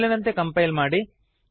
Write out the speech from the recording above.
ಮೊದಲಿನಂತೆ ಕಂಪೈಲ್ ಮಾಡಿ